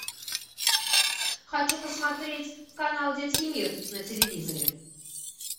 хочу посмотреть канал детский мир на телевизоре